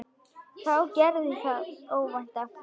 Þá gerðist það óvænta.